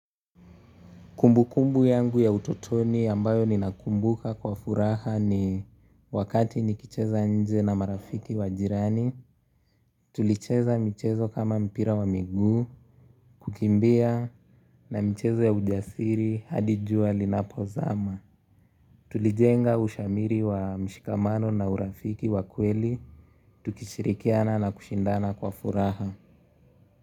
Kumbu kumbu yangu ya utotoni yambayo ninakumbuka kwa furaha ni wakati nikicheza nje na marafiki wa jirani. Tulicheza mchezo kama mpira wa miguu, kukimbia na mchezo ya ujasiri hadi jua linapozama. Tulijenga ushamiri wa mshikamano na urafiki wa kweli, tukishirikiana na kushindana kwa furaha.